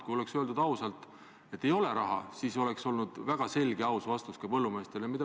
Kui oleks öeldud ausalt, et ei ole raha, siis oleks see olnud väga selge ja aus vastus põllumeestele.